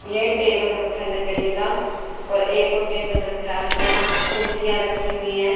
ये टेबल रखा लकड़ी का और एक और टेबल रखा है आगे कुर्सियां रखी हुई हैं।